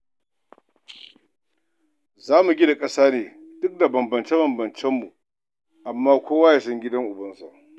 Za mu gina ƙasa ne duk da bambance-bambancenmu amma kowa ya san gidan ubansa